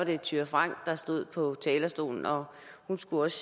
det thyra frank der stod på talerstolen og hun skulle også